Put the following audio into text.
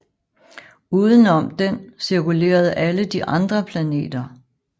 Uden om den cirkulerede alle de andre planeter